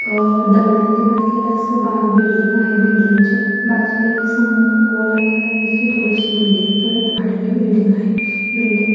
आ दगडांनी बांधलेल अस बिल्डिंग आहे बिल्डिंगच्या बाजूला एक अस हम्म गोल आकारांचे थोडीशी बिल्डिंग परत आडवी बिल्डिंग आहे. बिल्डिंग --